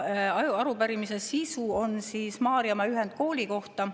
Arupärimine on Maarjamaa ühendkooli kohta.